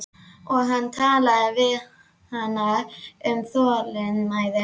Og hann talaði við hana um þolinmæði.